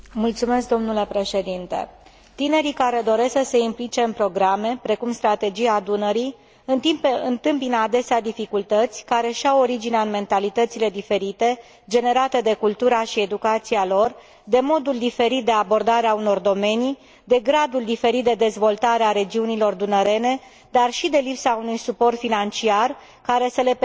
Tinerii care doresc să se implice în programe precum Strategia Dunării întâmpină adesea dificultăți care își au originea în mentalitățile diferite generate de cultura și educația lor, de modul diferit de abordare a unor domenii, de gradul diferit de dezvoltare a regiunilor dunărene, dar și de lipsa unui suport financiar care să le permită o implicare corespunzătoare.